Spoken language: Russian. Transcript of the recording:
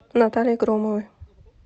натальи громовой